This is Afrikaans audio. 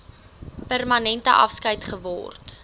permanente afskeid geword